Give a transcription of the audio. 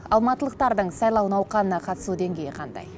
алматылықтардың сайлау науқанына қатысу деңгейі қандай